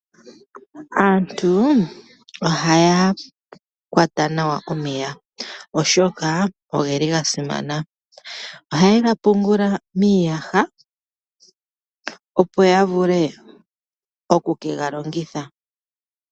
Aantu ohaya kwata nawa omeya oshoka ogeli ga simana. Ohaye ga pungula miiyaha opo ya vule oku ke ga longitha.